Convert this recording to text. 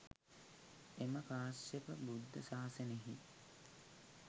එම කාශ්‍යප බුද්ධ ශාසනයෙහි